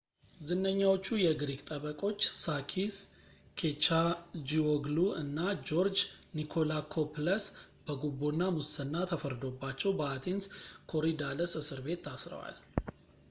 ዝነኛዎቹ የግሪክ ጠበቆች ሳኪስ ኬቻጂዎግሉ እና ጆርጅ ኒኮላኮፕለስ በጉቦ እና ሙስና ተፈርዶባቸው በአቴንስ ኮሪዳለስ እስርቤት ታስረዋል